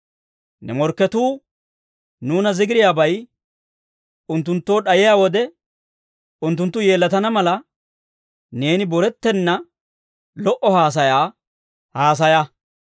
Ne morkketuu nuuna zigiriyaabay unttunttoo d'ayiyaa wode unttunttu yeellatana mala, neeni borettenna lo"o haasayaa haasaya.